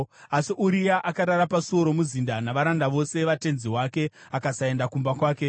Asi Uria akarara pasuo romuzinda navaranda vose vatenzi wake akasaenda kumba kwake.